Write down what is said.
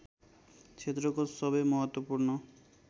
क्षेत्रको सबै महत्त्वपूर्ण